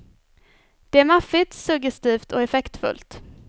Det är maffigt, suggestivt och effektfullt.